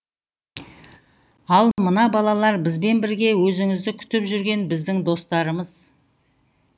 ал мына балалар бізбен бірге өзіңізді күтіп жүрген біздің достарымыз